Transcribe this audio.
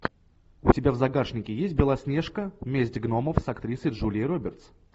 у тебя в загашнике есть белоснежка месть гномов с актрисой джулией робертс